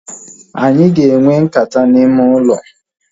Anyị ga enwe nkata n'ime ụlọ